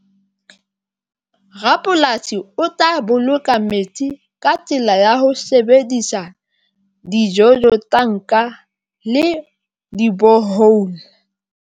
Rapolasi o tla boloka metsi ka tsela ya ho sebedisa di-jojo, tanka le di-borehole.